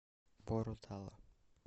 боро тала